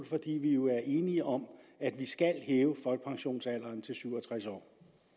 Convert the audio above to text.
fordi vi jo er enige om at vi skal hæve folkepensionsalderen til syv og tres år